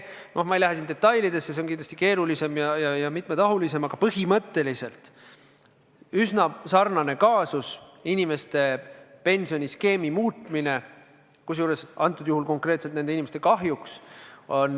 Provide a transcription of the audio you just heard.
Noh, ma ei lähe siin detailidesse, see on kindlasti keerulisem ja mitmetahulisem, aga põhimõtteliselt on see üsna sarnane kaasus: inimeste pensioniskeemi muutmine, kusjuures antud juhul konkreetselt nende inimeste kahjuks.